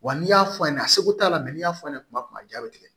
Wa n'i y'a f'a ɲɛna a seko t'a la n'i y'a fɔ a ɲɛna tuma min ja bɛ tigɛ